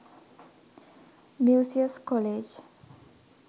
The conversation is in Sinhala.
musaeus college